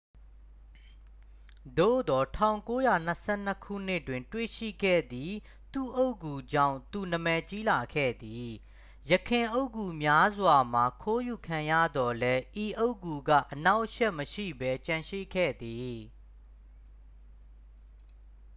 သို့သော် 1922 ခုနှစ်တွင် တွေ့ရှိခဲ့သည့် သူ့အုတ်ဂူကြောင့် သူနာမည်ကြီးလာခဲ့သည် ယခင်အုတ်ဂူများစွာမှာ ခိုးယူခံရသော်လည်း ဤအုတ်ဂူက အနှောင့်အယှက် မရှိဘဲ ကျန်ရှိခဲ့သည်